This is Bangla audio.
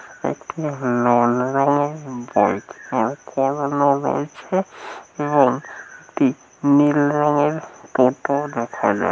একটি লাল রংয়ের বাইক এবং একটি নীল রংয়ের টোটো দেখা যা--